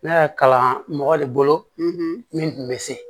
Ne y'a kalan mɔgɔ de bolo min tun bɛ se